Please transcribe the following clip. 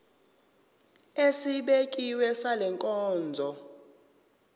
esibekiwe sale nkonzo